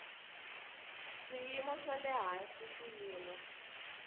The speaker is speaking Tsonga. swiyimo swa le hansi swiyimo